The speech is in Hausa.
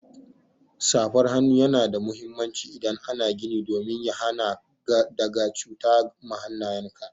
Safar hannu Yana da muhimmanci idan ana gini domin ya hana ka daga cuta ma hannayen ka.